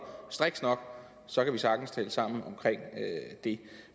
strikst nok så kan vi sagtens tale sammen om det